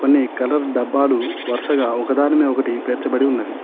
కొన్ని కలర్ డబ్బాలు వరుసగా ఒకదాని మీద ఒకటి పెర్చబడి ఉన్నవి.